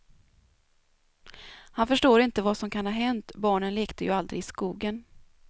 Han förstår inte vad som kan ha hänt, barnen lekte ju aldrig i skogen.